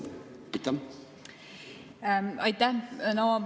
Aitäh!